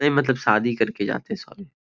नहीं मतलब शादी करके जाते हैं सॉरी ।